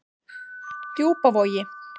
Djúpavogi